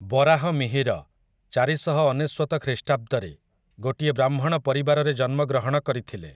ବରାହମିହିର, ଚାରିଶହ ଅନେଶ୍ୱତ ଖ୍ରୀଷ୍ଟାବ୍ଦରେ, ଗୋଟିଏ ବ୍ରାହ୍ମଣ ପରିବାରରେ ଜନ୍ମଗ୍ରହଣ କରିଥିଲେ ।